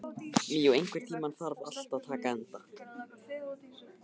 Míó, einhvern tímann þarf allt að taka enda.